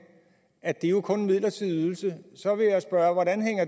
at det jo kun er en midlertidig ydelse så vil jeg spørge hvordan